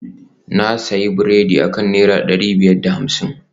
na sayi biredi akan naira dari biyar da hamsin